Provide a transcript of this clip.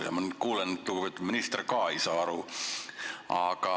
Nüüd ma kuulen, et lugupeetud minister ka ei saa aru.